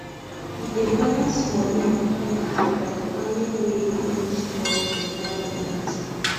we dey balance money and earth by farming way wey no spoil environment